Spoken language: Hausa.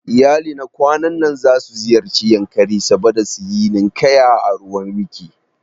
Iyalina kwanan nan zasu ziyarci Yankari saboda suyi ninkaya a ruwan wkiki